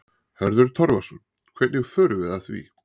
Hörður Torfason: Hvernig förum við að því?